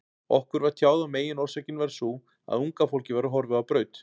Okkur var tjáð að meginorsökin væri sú, að unga fólkið væri horfið á braut.